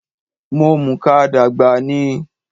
Mo mùka dàgbà ni